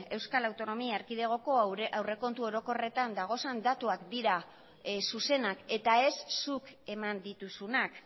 euskal autonomia erkidegoko aurrekontu orokorretan dagozen datuak dira zuzenak eta ez zuk eman dituzunak